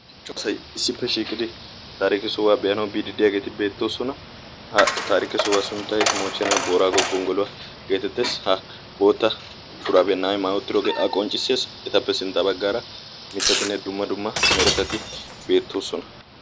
Asay issippe shiiqidi taariike sohuwaa be'aanawu bididiyaageeti beettoosona. ha taariike sohuwaa sunttai moohchena boraago gonggoluwaa geetettees ha bootta suraabiya na'ay maayi utiroogee a qonccissee etappe sintta baggaara mittatinne dumma dumma meretati beettoosona.